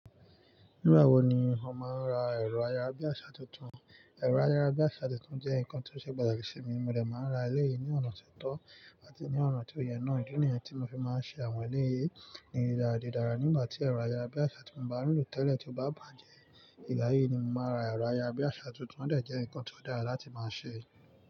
Nígbà wo ni o máa ń ra ẹ̀rọ ayárabíàṣá tuntun? Ẹ̀rọ ayárabíàṣá tuntun jẹ́ nǹkan tí ó ṣe pàtàkì sí mi, mo dẹ̀ máa ń ra eleyìí ní ọ̀nà ti o tọ́ àti ní ọ̀nà tó yẹ náà. Idi niyen tí mo fi máa ń ṣe àwọn eleyìí ní dídàradidára nígbà tí ẹ̀rọ ayárabíàṣá tí mo bá ń lò tẹ́lẹ̀ tí ó bá bàjẹ́. Ìgbà yìí ni mo máa ra ẹ̀rọ ayárabíàṣá tuntun, ó dẹ̀ jẹ́ ǹkan tó dára láti máa ṣe.